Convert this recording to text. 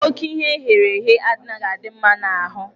Ókè ihe eghere eghe anaghị adị mma n'ahụ.